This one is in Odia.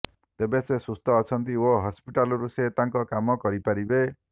ତେବେ ସେ ସୁସ୍ଥ ଅଛନ୍ତି ଓ ହସ୍ପିଟାଲରୁ ସେ ତାଙ୍କ କାମ କରିପାରିବେ